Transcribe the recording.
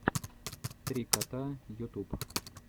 три кота ютуб